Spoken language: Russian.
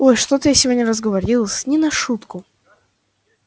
ой что-то я сегодня разговорилась не на шутку